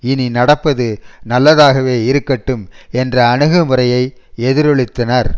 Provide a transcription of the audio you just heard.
இனி நடப்பது நல்லதாக இருக்கட்டும் என்ற அணுகு முறையை எதிரொலித்தனர்